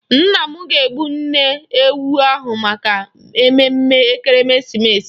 Nna m ga-egbu nne ewu ahụ maka ememme Ekeresimeesi.